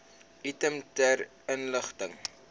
item ter inligting